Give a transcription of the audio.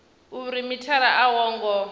uri mithara a wo ngo